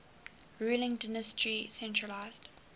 ruling dynasty centralised